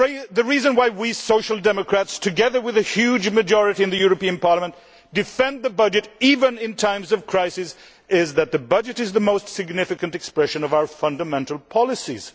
The reason why we Social Democrats, together with a huge majority of Parliament, defend the budget even in times of crisis is that the budget is the most significant expression of our fundamental policies.